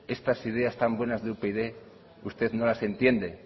estas ideas tan buenas de upyd usted no las entiende